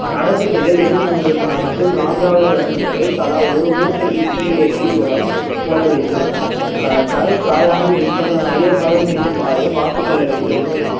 நடவு செய்த இரண்டு மூன்று ம~ மற்றும் நான்காவது வருடங்களில் தலா ஒரு மூட்டை உரம் போட வேண்டும் ஆஹ் தரை காயாமல் இருப்பதும் ஈரப்பதம் இருக்குமாறு பார்த்துக் கொள்ள வேண்டும்